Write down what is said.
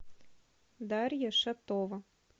дарья шатова